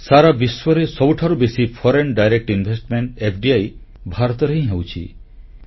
ସାରା ବିଶ୍ୱରେ ସବୁଠାରୁ ବେଶୀ ପ୍ରତ୍ୟକ୍ଷ ବିଦେଶୀ ନିବେଶ ଏଫଡିଆଇ ଭାରତରେ ହିଁ ହେଉଛି